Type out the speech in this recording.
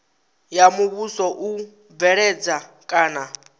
ya muvhuso u bveledza kana